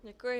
Děkuji.